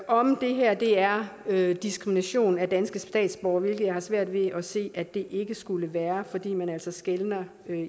om det her er er diskrimination af danske statsborgere hvilket jeg har svært ved at se det ikke skulle være fordi man altså skelner